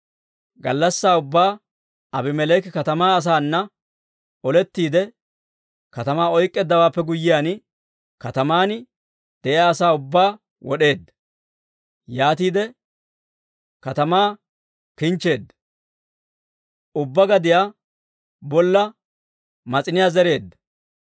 Gallassaa ubbaa Aabimeleeki katamaa asaana olettiide katamaa oyk'k'eeddawaappe guyyiyaan, kataman de'iyaa asaa ubbaa wod'eedda. Yaatiide katamaa kinchcheedda; ubbaa gadiyaa bolla mas'iniyaa zereedda.